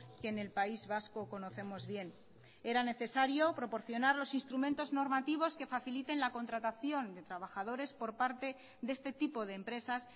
que en el país vasco conocemos bien era necesario proporcionar los instrumentos normativos que faciliten la contratación de trabajadores por parte de este tipo de empresas